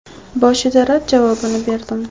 Boshida rad javobini berdim.